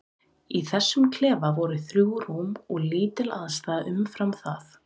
Í þessum klefa voru þrjú rúm og lítil aðstaða umfram það.